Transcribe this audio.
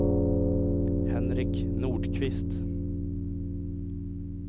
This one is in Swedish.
Henrik Nordqvist